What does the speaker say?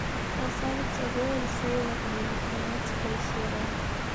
красавица воин сейлор мун тринадцатая серия